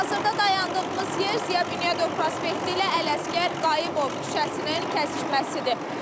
Hazırda dayandığımız yer Ziya Bünyadov prospekti ilə Ələsgər Qayıbov küçəsinin kəsişməsidir.